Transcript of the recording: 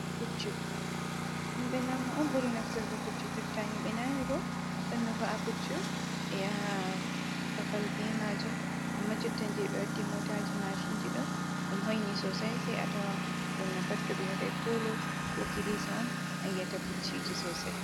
Buccu, himɓe lamu on ɓuri nafsurgo puccu, jotta himbe nani bo ɗon no va’a puccu ɓe yaha babal be majum amma jotta je ɓe waddi motaji mashinji ɗon ɗum hoyni sosai sai a tawa ɓurna pat to ɓe waɗai polo, ko kilisa on ayi ata pucciji sosai.